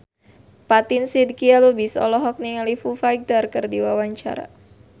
Fatin Shidqia Lubis olohok ningali Foo Fighter keur diwawancara